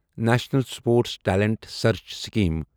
national sports talent search scheme